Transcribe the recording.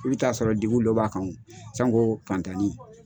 I bɛ t'a sɔrɔ degun dɔ b'a kan sanko fantanni.